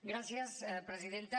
gràcies presidenta